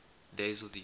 days of the year